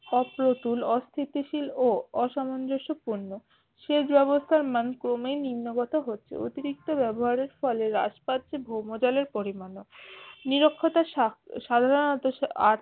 অপ্রতুল অস্থিশীল ও অসাম্যপূর্ণ, সেই যে অবস্থার ম্যান ক্রমেই নিম্ন গত হচ্ছে অতিরিক্ত ব্যবহারের ফলে হ্রাস পাচ্ছে ভ্রম জলের পরিমান্ ও নিরক্ষতার সা সাধারণত আহ